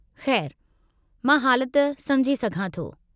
खै़रु, मां हालत सम्झी सघां थो।